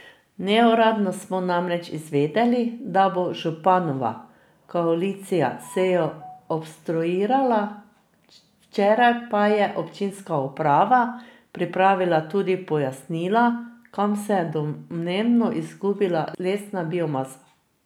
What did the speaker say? Neuradno smo namreč izvedeli, da bo županova koalicija sejo obstruirala, včeraj pa je občinska uprava pripravila tudi pojasnila, kam se je domnevno izgubila lesna biomasa.